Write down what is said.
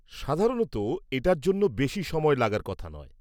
সাধারণত, এটার জন্য বেশী সময় লাগার কথা নয়।